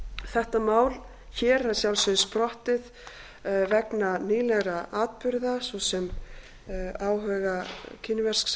þetta mál hér er að sjálfsögðu sprottið vegna vegna nýlegra atburða svo sem áhuga kínversks